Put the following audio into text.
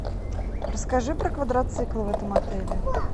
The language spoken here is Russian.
расскажи про квадроциклы в этом отеле